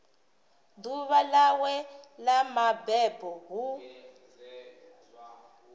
ḓuvha ḽawe ḽa mabebo hu